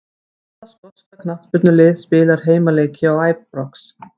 Hvaða skoska knattspyrnulið spilar heimaleiki á Æbrox?